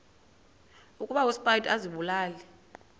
ukuba uspido azibulale